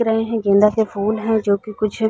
रहे है गेंदा के फूल है जो की कुछ --